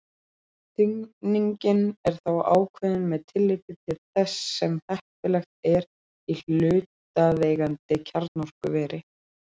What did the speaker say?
Þynningin er þá ákveðin með tilliti til þess sem heppilegt er í hlutaðeigandi kjarnorkuveri.